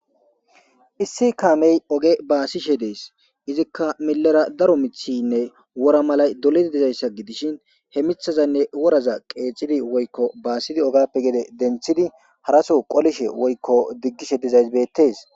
Issi kaamey oge baasishe dees izikka milera daro mithinne wora malay doledi dizayssa gidishin he mithazanne woraza qeecidi woykko baasidi ogappe gede denthidi haraso qolishe woykko diggishe dizaysbeettes.